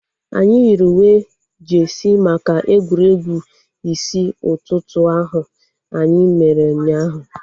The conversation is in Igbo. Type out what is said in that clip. Anyị yiri uwe jeesi maka egwuregwu isi ụtụtụ ahu anyị mere ụnyaahụ